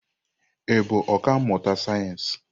Ị bụ ọkà mmụta sayensị?